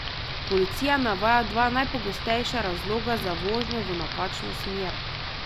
Policija navaja dva najpogostejša razloga za vožnjo v napačno smer.